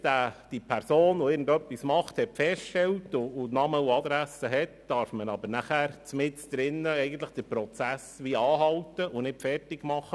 Wenn man nun Name und Adresse festgestellt hat, muss man nachher mitten im Prozess anhalten, ohne ihn zu Ende führen zu dürfen.